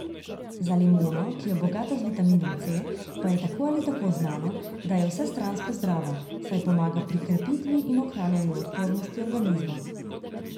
Za limono, ki je bogata z vitaminom C, pa je tako ali tako znano, da je vsestransko zdrava, saj pomaga pri krepitvi in ohranjanju odpornosti organizma.